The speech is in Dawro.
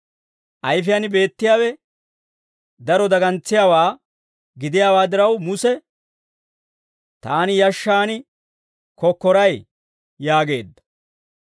Ayfiyaan beettiyaawe daro dagantsiyaawaa gidiyaa diraw Muse, «Taani yashshaan kokkoray» yaageedda.